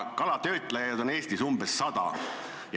Kalatöötlejaid on Eestis umbes 100.